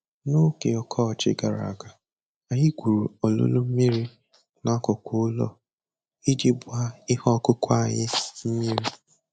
N'oge ọkọchị gara aga, anyị gwuru olulu mmiri n'akụkụ ụlọ iji gbaa ihe ọkụkụ anyị mmiri.